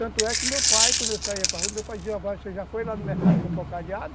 Tanto é que meu pai, quando eu saía para rua, meu pai dizia, você já foi lá no mercado com o pau cadeado?